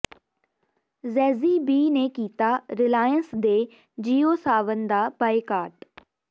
Jazzy B ਨੇ ਕੀਤਾ ਰਿਲਾਇੰਸ ਦੇ ਜਿਓ ਸਾਵਨ ਦਾ ਬਾਈਕਾਟ